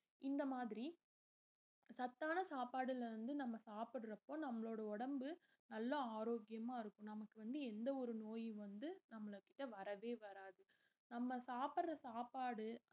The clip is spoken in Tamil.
இந்த மாதிரி சத்தான சாப்பாடுல இருந்து நம்ம சாப்பிடறப்போ நம்மளோட உடம்பு நல்ல ஆரோக்கியமா இருக்கும் நமக்கு வந்து எந்த ஒரு நோயும் வந்து நம்மள கிட்ட வரவே வராது நம்ம சாப்பிடுற சாப்பாடு